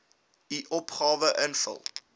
u opgawe invul